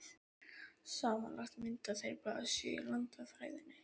Samanlagt mynda þeir blaðsíðu í landafræðinni.